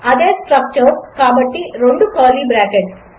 అదేస్ట్రక్చర్ కాబట్టిరెండుకర్లీబ్రాకెట్లు